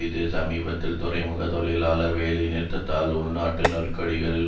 இது சமீபத்திய துறைமுக தொழிலாளர் வேலை நிறுத்தத்தால் உள்நாட்டு நெருக்கடிகள்